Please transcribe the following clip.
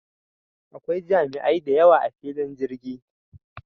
Da akwai jami'ai dayawa a filin jirgi